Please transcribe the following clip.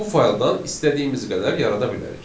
Bu fayldan istədiyimiz qədər yarada bilərik.